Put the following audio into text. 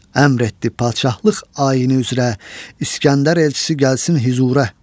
Əmr etdi padşahlıq ayini üzrə, İskəndər elçisi gəlsin hüzurə.